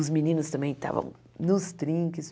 Os meninos também estavam nos trinques.